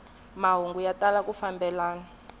mahungu ya tala ku fambelana